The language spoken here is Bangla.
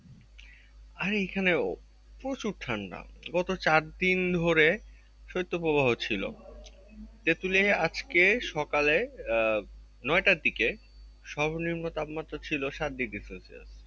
আরে এইখানে প্রচুর ঠান্ডা গত চারদিন ধরে শৈত্যপ্রবাহ ছিল। তেঁতুলিয়ায় আজকে সকালে আহ নয়টার দিকে সর্বনিম্ন তাপমাত্রা ছিল সাত degrees celsius